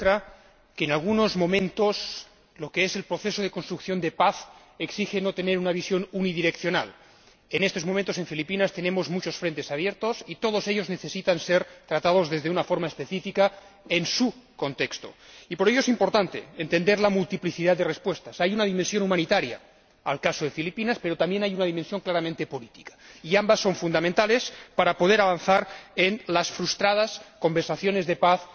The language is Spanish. Señora Presidenta, efectivamente, el caso de Filipinas demuestra que, en algunos momentos, el proceso de construcción de paz exige no tener una visión unidireccional. En estos momentos, en Filipinas, tenemos muchos frentes abiertos y todos ellos necesitan ser tratados de una forma específica en su contexto. Y por ello es importante entender la multiplicidad de respuestas hay una dimensión humanitaria en el caso de Filipinas, pero también hay una dimensión claramente política y ambas son fundamentales para poder avanzar en las frustradas conversaciones de paz,